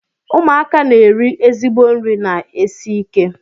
Ụmụaka na-eri ezigbo nri na-esi ike.